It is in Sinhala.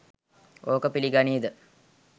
ඕක පිලිගනියිද.